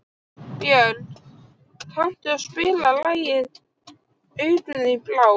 Björg, kanntu að spila lagið „Augun þín blá“?